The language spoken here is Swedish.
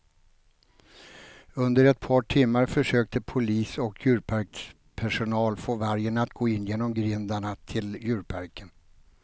Under ett par timmar försökte polis och djurparkspersonal få vargen att gå in genom grindarna till djurparken.